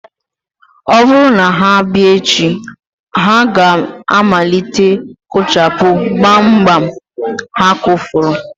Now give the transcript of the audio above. Ọ bụrụ na ha bịa echi, ha ga-amalite kụchapụ gbamgbam ha kụfọrọ